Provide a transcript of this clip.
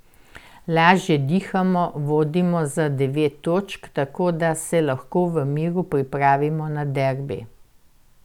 Lažje dihamo, vodimo za devet točk, tako da se lahko v miru pripravimo na derbi.